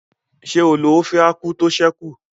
Ṣé o lo ófé ákwú tó ṣẹ́ kù?